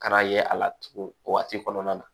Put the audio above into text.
Ka na ye a la tugun o waati kɔnɔna na